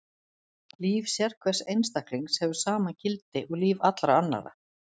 Líf sérhvers einstaklings hefur sama gildi og líf allra annarra.